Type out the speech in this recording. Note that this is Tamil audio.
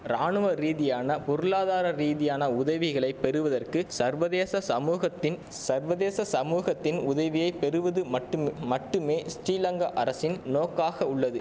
ராணுவ ரீதியான பொருளாதார ரீதியான உதவிகளை பெறுவதற்கு சர்வதேச சமூகத்தின் சர்வதேச சமூகத்தின் உதவியை பெறுவது மட்டும் மட்டுமே ஸ்டிலங்கா அரசின் நோக்காக உள்ளது